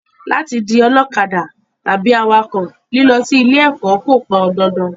Láti di ọlọ́kadà tàbí awakọ̀, lílọ sí ilé ẹ̀kọ́ kò pọn dandan